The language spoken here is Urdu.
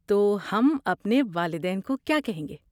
تو، ہم اپنے والدین کو کیا کہیں گے؟